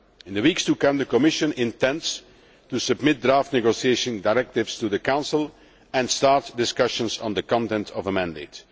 In the weeks to come the Commission intends to submit draft negotiating directives to the Council and start discussions on the content of a mandate.